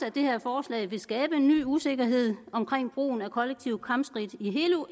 at det her forslag vil skabe en ny usikkerhed omkring brugen af kollektive kampskridt i hele eu